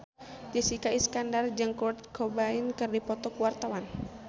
Jessica Iskandar jeung Kurt Cobain keur dipoto ku wartawan